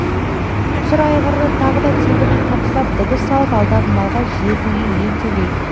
сұр айғырды тағы да тебініп қамшылап дабыс салып алдағы малға жетуге ентелейді